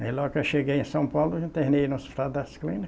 Aí, logo que eu cheguei em São Paulo, eu internei no Hospital das Clíni